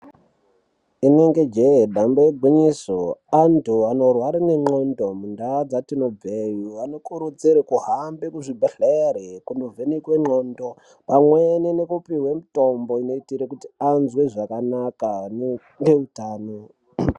Inenge jee damba igwinyiso anthu anorwara ngendxondo mundaa dzetinobveyo anokurudzirwe kuhamba kuzvibhedhlere kundovhenekwe ndxondo pamweni nekupiwe mutombo unoitire kuti azwe zvakanaka neutano.